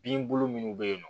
Bin bolo minnu bɛ yen nɔ